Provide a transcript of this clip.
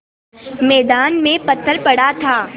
मैदान में पत्थर पड़ा था